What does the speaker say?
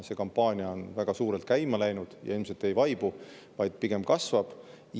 See kampaania on väga suurelt käima läinud ja ilmselt ei vaibu, vaid pigem kasvab.